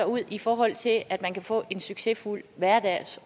ud i forhold til at man ellers kan få en succesfuld hverdag